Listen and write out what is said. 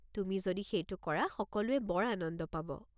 তুমি যদি সেইটো কৰা সকলোয়ে বৰ আনন্দ পাব।